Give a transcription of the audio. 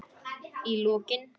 Í lokin.